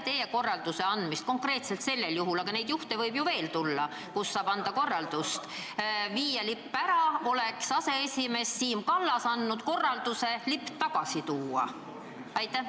Ehk siis: kas peale teie korraldust lipp ära viia oleks aseesimees Siim Kallas võinud anda korralduse lipp tagasi tuua?